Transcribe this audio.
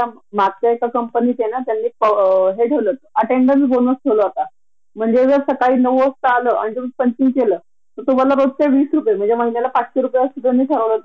हालाकी आपण कोणावर उपकार करत नाही आपण ज्ञान घेतल आहे त्या ज्ञानच चीज व्हाव म्हणून तर आपण नोकरी करत असतो न ग, आपण स्वतः आर्थिक दृष्ट्या इनडीपेनडेंट राहाव यासाठी आपला तो सगळा प्रयत्न असतो